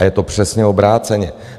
A je to přesně obráceně.